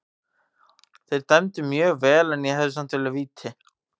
Þeir dæmdu mjög vel en ég hefði samt viljað víti.